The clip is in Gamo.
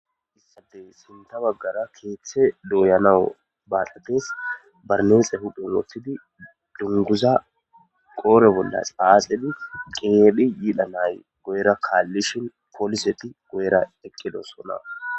Hayssappe sinththe baggara keeththe doyanaw baaxetes barinesse huphphen woththidi dunguza qodhe bolla xaxxidi keehi yidhanay guyera kalishin poliseti guyera eqidosonna